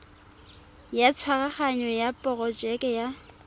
ya tshwaraganyo ya porojeke ya